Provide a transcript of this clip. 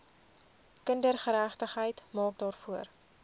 kindergeregtigheid maak daarvoor